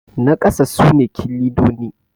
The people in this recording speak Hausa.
na kasa sune kilinoni